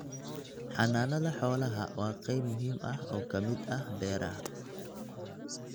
Xanaanada xoolaha waa qayb muhiim ah oo ka mid ah beeraha.